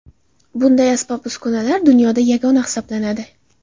Bunday asbob-uskunalar dunyoda yagona hisoblanadi!